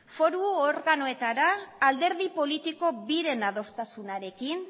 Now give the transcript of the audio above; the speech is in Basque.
foru organoetara alderdi politiko biren adostasunarekin